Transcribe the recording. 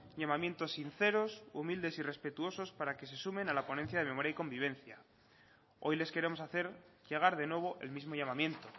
llamamientos sinceros humildes y respetuosos para que se sumen a la ponencia de memoria y convivencia hoy les queremos hacer llegar de nuevo el mismo llamamiento